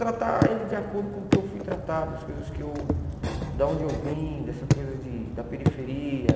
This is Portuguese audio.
Tratar eles de acordo com o que eu fui tratado, as coisas que eu da onde eu vim, dessa coisa de da periferia.